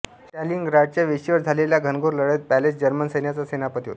स्टालिनग्राडच्या वेशीवर झालेल्या घनघोर लढाईत पॉलस जर्मन सैन्याचा सेनापती होता